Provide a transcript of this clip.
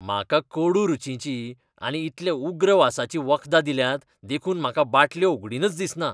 म्हाका कडू रूचीचीं आनी इतल्या उग्र वासाचीं वखदां दिल्यांत देखून म्हाका बाटल्यो उगडीनच दिसना.